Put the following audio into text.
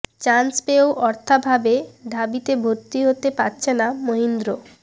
chance পেয়েও অর্থাভাবে ঢাবিতে ভর্তি হতে পারছে না মহিন্দ্র